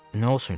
Nə olsun ki?